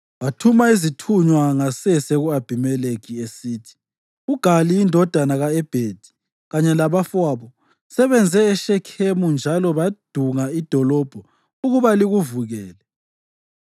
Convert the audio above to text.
Wathuma izithunywa ngasese ku-Abhimelekhi, esithi, “UGali indodana ka-Ebhedi kanye labafowabo sebeze eShekhemu njalo badunga idolobho ukuba likuvukele.